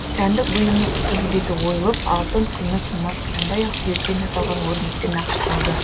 сәндік бұйымның үстіңгі беті ойылып алтын күміс мыс сондай ақ сүйектен жасалған өрнекпен нақышталды